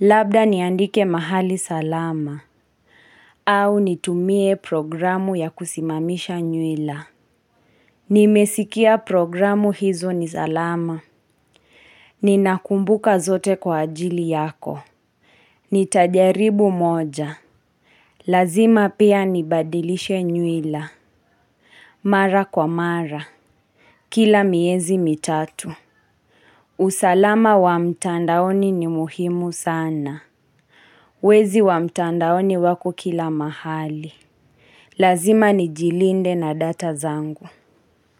Labda niandike mahali salama. Au nitumie programu ya kusimamisha nywila. Nimesikia programu hizo nizalama. Ninakumbuka zote kwa ajili yako. Nitajaribu moja. Lazima pia nibadilishe nywila. Mara kwa mara. Kila miezi mitatu. Usalama wa mtandaoni ni muhimu sana. Wezi wa mtandaoni wako kila mahali. Lazima nijilinde na data zangu.